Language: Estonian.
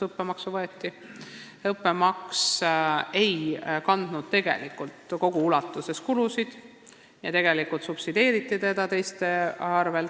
Õppemaks ei katnud kulusid kogu ulatuses ja tegelikult subsideeriti seda teiste erialade arvel.